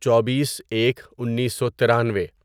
چوبیس ایک انیسو ترانوۓ